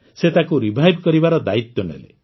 ସେ ତାକୁ ପୁନର୍ଜୀବିତ କରିବାର ଦାୟିତ୍ୱ ନେଲେ